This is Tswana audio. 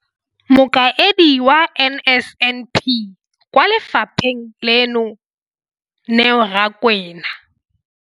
Mokaedi wa NSNP kwa lefapheng leno, Neo Rakwena.